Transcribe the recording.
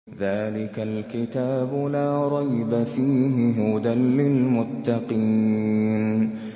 ذَٰلِكَ الْكِتَابُ لَا رَيْبَ ۛ فِيهِ ۛ هُدًى لِّلْمُتَّقِينَ